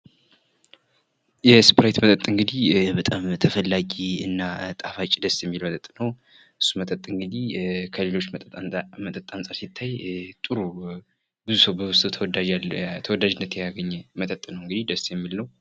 እስፕራይት መጠጥ እንግዲ ተላጊ እና ጣፋጭ ደስ የሚል ጥሩ መጠጥ ነው፡፡ እስፕራይት እንግዲ ከሌሎች መጠጥ ጋር ሲታይ ጥሩ ይሆነ እና ብዙ ተወዳጅነትን ያገኛ መጠጥ ነው፡፡